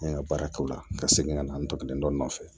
N ye n ka baara kɛ o la ka segin ka na n to nɔ nɔfɛ